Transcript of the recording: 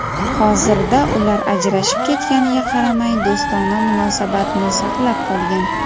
Hozirda ular ajrashib ketganiga qaramay, do‘stona munosabatni saqlab qolgan.